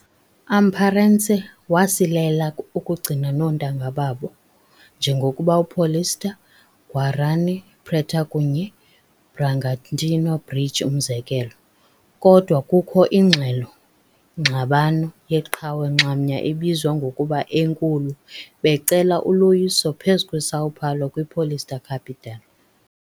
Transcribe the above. Amparense wasilela ukugcina noontanga babo - njengokuba Paulista , Guarani, preta kunye Bragantino Bridge umzekelo, kodwa kukho iingxelo ngxabano yeqhawe nxamnye ebizwa ngokuba "Enkulu" - becala uloyiso phezu kweSao Paulo kwi Paulista Capital.